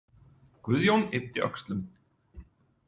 Guðjón yppti öxlum.